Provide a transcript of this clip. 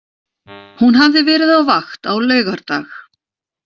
Hún hafði verið á vakt á laugardag.